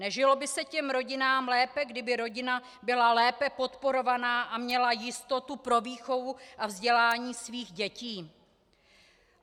Nežilo by se těm rodinám lépe, kdyby rodina byla lépe podporovaná a měla jistotu pro výchovu a vzdělání svých dětí?